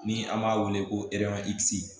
Ni an b'a wele ko